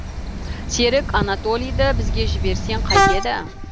серік анатолийді бізге жіберсең қайтеді